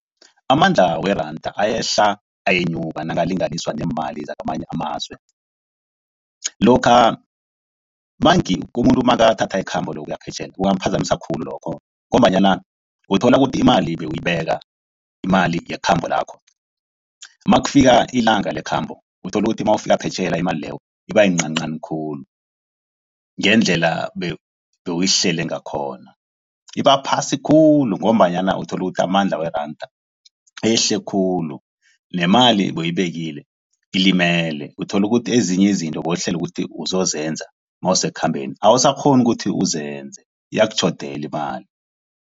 Amandla weranda ayehla ayenyuka nakalinganiswa neemali zakamanye amazwe. Lokha manengi, umuntu nakathatha ikhambo lokuya ngaphetjheya kungamuphazamiseka khulu lokho ngombanyana uthola kuthi imali bewuyibeka, imali yekhambo lakho. Nakufika ilanga lekhambo uthola ukuthi mawufika phetjheya imali leyo iba iyincancani khulu, ngendlela bewuyihlele ngakhona. Ibaphasi khulu ngombanyana uthola ukuthi amandla weranda ehle khulu. Nemali ebe uyibekile ilimele. Uthola ukuthi ezinye izinto bewuhlele ukuthi uzose zenza mawuse kukhambeni awusakghoni ukuthi uzenze iyakutjhodela imali.